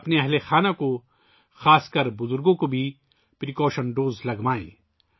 اپنے خاندان کے افراد خصوصاً بوڑھوں کو بھی احتیاطی خوراک لگوائیں